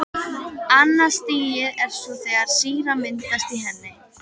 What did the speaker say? Annað stigið er svo þegar sýra myndast í henni.